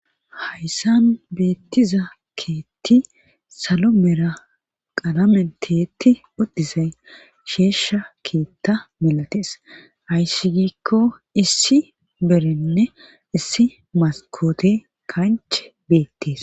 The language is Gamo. hayssan beettiza keetti salo mera qalame tiyetti odtisay sheeshsha keetta milatees hayssi giikko issi berinne issi maskote kanche beettees